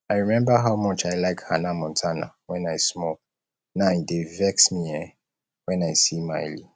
i remember how much i like hanna montana when i small now e dey vex me um when i see miley